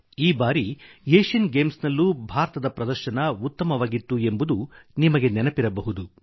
ಈ ಬಾರಿ Asian Games ನಲ್ಲೂ ಭಾರತದ ಪ್ರದರ್ಶನ ಉತ್ತಮವಾಗಿತ್ತು ಎಂಬುದು ನಿಮಗೆ ನೆನಪಿರಬಹುದು